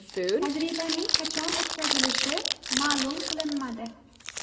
Tajribaning qachon o‘tkazilishi ma’lum qilinmadi.